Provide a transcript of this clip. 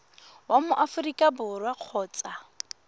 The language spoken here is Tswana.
wa mo aforika borwa kgotsa